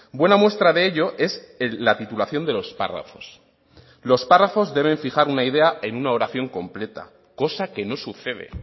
buena muestra de ello es la titulación de los párrafos los párrafos deben fijar una idea en una oración completa cosa que no sucede